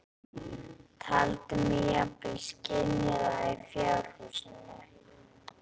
Taldi mig jafnvel skynja það í fjárhúsinu.